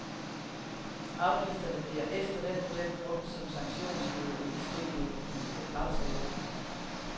Afgifterne bliver efter den model brugt som sanktionsmiddel i de frivillige aftaler.